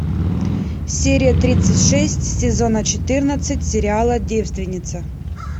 серия тридцать шесть сезона четырнадцать сериала девственница